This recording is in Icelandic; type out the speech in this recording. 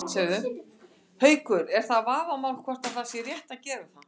Haukur: Er það vafamál hvort að það sé rétt að gera það?